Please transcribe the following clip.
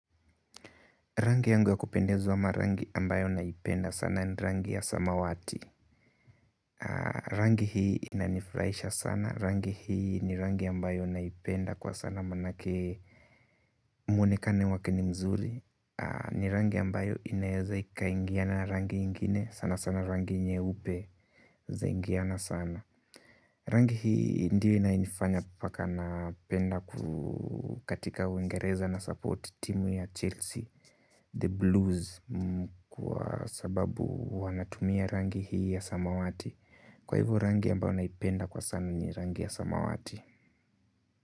Rangi yangu ya kupendeza ama rangi ambayo naipenda sana ni rangi ya samawati rangi hii inanifurahisha sana rangi hii ni rangi ambayo naipenda kwa sana maanake mwonekano wake ni mzuri ni rangi ambayo inaeza ikikaingiana rangi ingine sana sana rangi nyeupe zaingiana sana rangi hii ndiyo inanifanya paka na penda kukatika Uingereza na support timu ya Chelsea, The Blues, kwa sababu wanatumia rangi hii ya samawati. Kwa hivyo rangi ambayo kwa naipenda sana ni rangi ya samawati.